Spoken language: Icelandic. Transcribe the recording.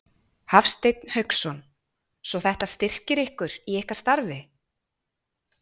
Hafsteinn Hauksson: Svo þetta styrkir ykkur í ykkar starfi?